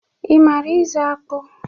Ị mara ụzụ akpụ?